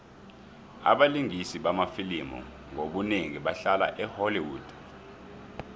abalingisi bamafilimu ngobunengi bahlala e holly wood